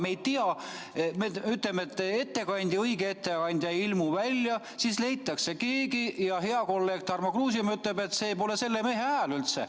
Me ei tea, me ütleme, et õige etteandja ei ilmu välja, siis leitakse keegi, ja hea kolleeg Tarmo Kruusimäe ütleb, et see pole selle mehe hääl üldse.